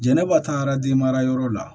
Jɛnɛba taara den mara yɔrɔ la